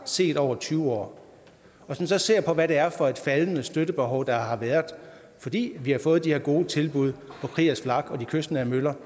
set over tyve år hvis man så ser på hvad det er for et faldende støttebehov der har været fordi vi har fået de her gode tilbud på kriegers flak og de kystnære møller